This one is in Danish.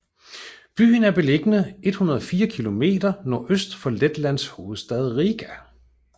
Byen er beliggende 104 kilometer nordøst for Letlands hovedstad Riga